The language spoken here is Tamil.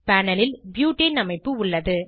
பேனல் ல் ப்யூட்டேன் அமைப்பு உள்ளது